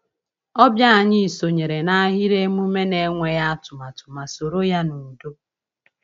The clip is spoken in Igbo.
Ọbịa anyị sonyere n’ahịrị emume n’enweghị atụmatụ ma soro ya n’udo.